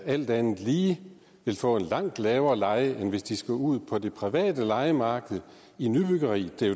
alt andet lige vil få en langt lavere leje end hvis de skal ud på det private lejemarked i nybyggeri